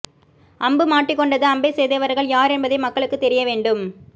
அம்பு மாட்டிக்கொண்டது அம்பை செய்தவர்கள் யார் என்பதை மக்களுக்குத் தெரிய வேண்டும்